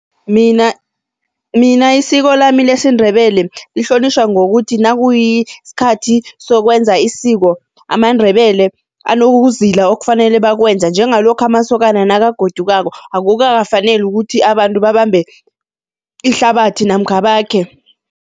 Mina mina isiko lami lesiNdebele lihlonitjhwa ngokuthi nakuyisikhathi sokwenza isiko, amaNdebele anokuzila okufanele bakwenze, njengalokha amasokana nakagodukako, akukafaneli ukuthi abantu babambe ihlabathi namkha bakhe.